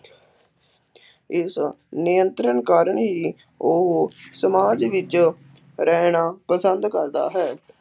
ਇਸ ਨਿਯੰਤਰਣ ਕਾਰਨ ਹੀ ਉਹ ਸਮਾਜ ਵਿੱਚ ਰਹਿਣਾ ਪਸੰਦ ਕਰਦਾ ਹੈ।